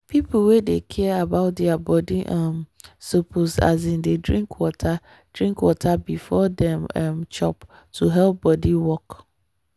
people wey dey care about their body um suppose um dey drink water drink water before dem um chop to help body work